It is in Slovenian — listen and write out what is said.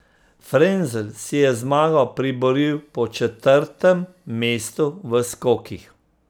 Frenzel si je zmago priboril po četrtem mestu v skokih.